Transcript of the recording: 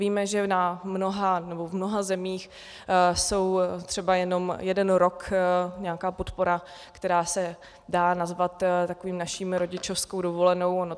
Víme, že v mnoha zemích je třeba jenom jeden rok nějaká podpora, která se dá nazvat takovou naší rodičovskou dovolenou.